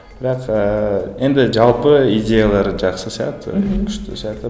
бірақ ыыы енді жалпы идеялары жақсы сияқты мхм күшті сияқты